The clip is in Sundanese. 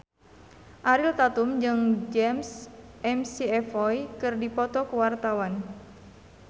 Ariel Tatum jeung James McAvoy keur dipoto ku wartawan